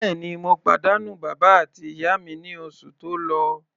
Bẹ́ẹ̀ni, mo pàdánù bàbá àti ìyá mi ní oṣù tó lọ.